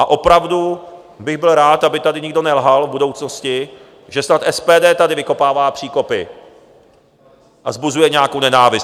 A opravdu bych byl rád, aby tady nikdo nelhal v budoucnosti, že snad SPD tady vykopává příkopy a vzbuzuje nějakou nenávist.